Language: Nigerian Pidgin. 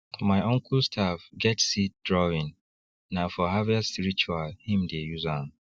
my uncle staff get seed drawingna for harvest ritual him dey use am